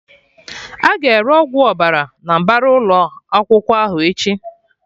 Aga ere Ọgwụ Ọbara na mbara ụlọ akwụkwọ ahụ echi